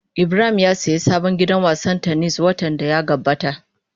Ibrahim ya sayi sabon gidan wasan tennis watan da ya gabata.